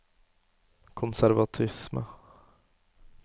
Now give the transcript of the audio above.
konservatisme